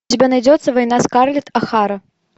у тебя найдется война скарлетт о хара